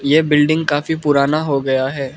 ये बिल्डिंग काफी पुराना हो गया है।